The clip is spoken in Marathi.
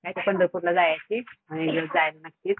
पंढरपूरला जायाची.